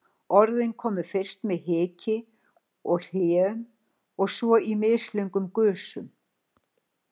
Orðin komu fyrst með hiki og hléum, svo í mislöngum gusum.